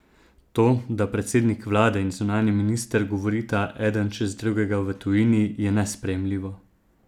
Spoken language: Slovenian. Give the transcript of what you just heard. To, da predsednik vlade in zunanji minister govorita eden čez drugega v tujini, je nesprejemljivo!